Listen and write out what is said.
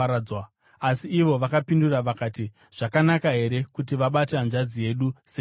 Asi ivo vakapindura vakati, “Zvakanaka here kuti vabate hanzvadzi yedu sechifeve?”